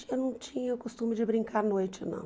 Eu não tinha o costume de brincar à noite, não.